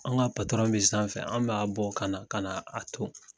An ka patɔrɔn bɛ sanfɛ an bɛ'a bɔ ka ka na a ton